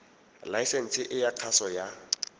laesense e ya kgaso ya